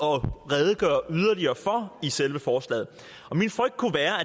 at redegøre yderligere for i selve forslaget og min frygt kunne være